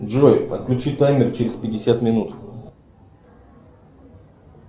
джой отключи таймер через пятьдесят минут